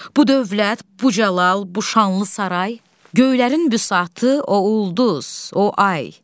Bu dövlət, bu cəlal, bu şanlı saray, göylərin vüsatı, o ulduz, o ay.